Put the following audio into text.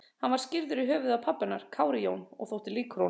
Hann var skírður í höfuðið á pabba hennar, Kári Jón, og þótti líkur honum.